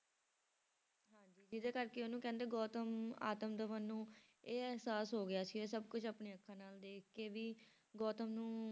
ਹਾਂਜੀ ਜਿਹਦੇ ਕਰਕੇ ਉਹਨੂੰ ਕਹਿੰਦੇ ਗੋਤਮ ਆਤਮ ਦਮਨ ਨੂੰ ਇਹ ਇਹਸਾਸ ਹੋ ਗਿਆ ਸੀ ਇਹ ਸਭ ਕੁਛ ਆਪਣੀਆਂ ਅੱਖਾਂ ਨਾਲ ਦੇਖ ਕੇ ਵੀ ਗੋਤਮ ਨੂੰ